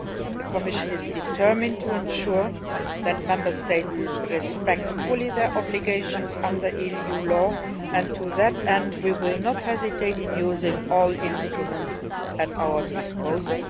The Commission is determined to ensure that Member States respect fully their obligations under EU law and to that end we will not hesitate in using all instruments at our disposal.